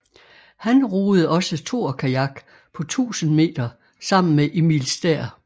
Han roede også toerkajak på 1000 m sammen med Emil Stær